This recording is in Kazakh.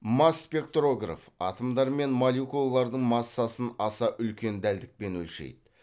масспектрограф атомдар мен молекулалардың массасын аса үлкен дәлдікпен өлшейді